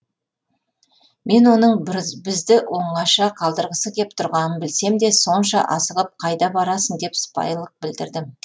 мен оның бізді оңаша қалдырғысы кеп тұрғанын білсем де сонша асығып қайда барасың деп сыпайылық білдірдім